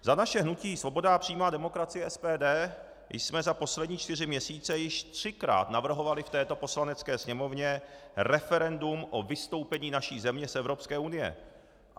Za naše hnutí Svoboda a přímá demokracie - SPD jsme za poslední čtyři měsíce již třikrát navrhovali v této Poslanecké sněmovně referendum o vystoupení naší země z Evropské unie.